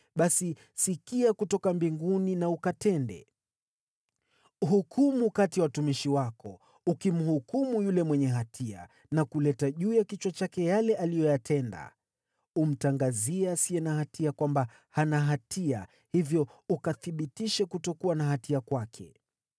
basi, sikia kutoka mbinguni na ukatende. Hukumu kati ya watumishi wako, ukimhukumu yule mwenye hatia na kuleta juu ya kichwa chake yale aliyoyatenda. Umtangazie mwenye haki kwamba hana hatia, hivyo ukathibitishe kuwa haki kwake.